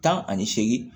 Tan ani seegin